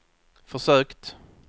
försökt